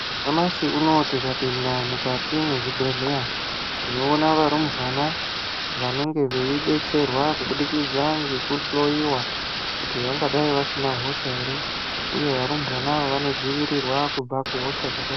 Nyamashi uno tikapinda mukati mezvibhedhleya, tinoona varumbwana vanenge veibetserwa kubudikidza ngekuhloiwa kuti vangadai vasina hosha ere, uye varumbwana ava vanodzivirirwa kubva kuhosha dzakasiyana-siyana.